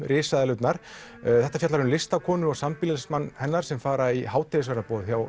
risaeðlurnar þetta fjallar um listakonu og sambýlismann hennar sem fara í hádegisverðarboð hjá